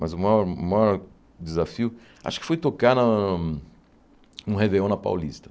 Mas o maior o maior desafio acho que foi tocar na um Réveillon na Paulista.